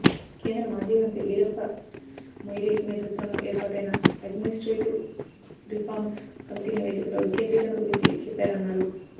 కేంద్ర మాజీమంత్రి వీరప్ప మొయిలీ నేతృత్వంలో ఏర్పాటైన అడ్మినిస్ట్రేటివ్ రిఫార్మ్స్ కమిటీ నివేదికలో వికేంద్రీకరణ గురించి చెప్పారన్నారు